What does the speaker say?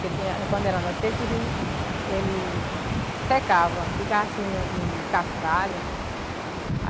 Porque quando era no seco o rio ele secava, ficava assim em um em um cascalho.